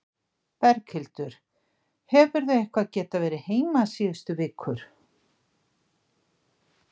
Berghildur: Hefurðu eitthvað geta verið heima síðustu vikur?